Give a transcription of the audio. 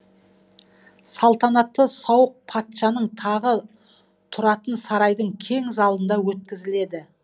салтанатты сауық патшаның тағы тұратын сарайдың кең залында өткізіледі